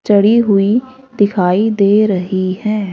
चढ़ी हुई दिखाई दे रही हैं।